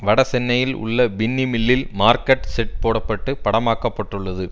வட சென்னையில் உள்ள பின்னி மில்லில் மார்க்கெட் செட் போட பட்டு படமாக்கப்பட்டுள்ளது